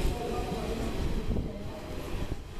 ore iltung'anak oopi naa ninche eyieuni te enara